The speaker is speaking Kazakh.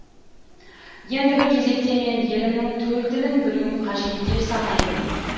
ендігі кезекте мен елімнің төл тілін білуім қажет деп санаймын